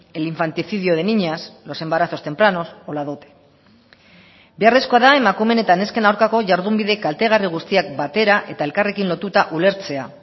el infanticidio de niñas los embarazos tempranos o la dote beharrezkoa da emakumeen eta nesken aurkako jardunbide kaltegarri guztiak batera eta elkarrekin lotuta ulertzea